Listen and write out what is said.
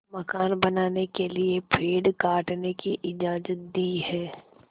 मकान बनाने के लिए पेड़ काटने की इजाज़त दी है